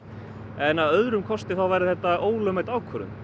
en að öðrum kosti væri þetta ólögmæt ákvörðun